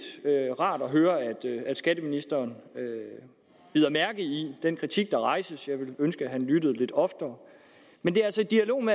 rart at høre at skatteministeren bider mærke i den kritik der rejses jeg ville ønske at han lyttede lidt oftere men det er altså dialogen